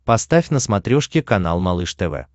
поставь на смотрешке канал малыш тв